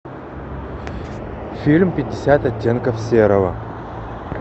фильм пятьдесят оттенков серого